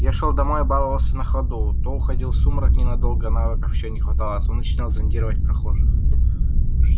я шёл домой и баловался на ходу то уходил в сумрак ненадолго навыков ещё не хватало то начинал зондировать прохожих